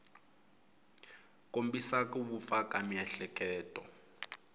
kombisa ku vupfa ka miehleketo